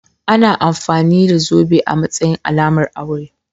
Ana amfani da zobe a matsayin alamar aure.